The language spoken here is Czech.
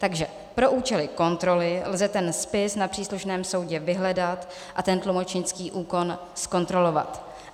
Takže pro účely kontroly lze ten spis na příslušném soudu vyhledat a ten tlumočnický úkon zkontrolovat.